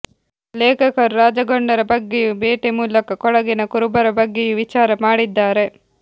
ಲೇಖಕರು ರಾಜಗೊಂಡರ ಬಗ್ಗೆಯೂ ಬೇಟೆ ಮೂಲಕ ಕೊಡಗಿನ ಕುರುಬರ ಬಗ್ಗೆಯೂ ವಿಚಾರ ಮಾಡಿದ್ದಾರೆ